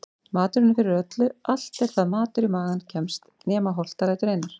Maturinn er fyrir öllu allt er það matur í magann kemst nema holtarætur einar.